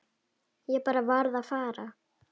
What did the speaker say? Ég bara varð að fara.